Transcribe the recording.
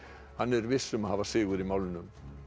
hann er viss um að hafa sigur í málinu